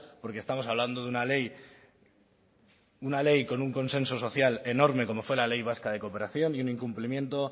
porque estamos hablando de una ley una ley con un consenso social enorme como fue la ley vasca de cooperación y un incumplimiento